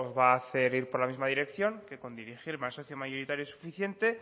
va a hacer ir por la misma dirección que con dirigirme al socio mayoritario es suficiente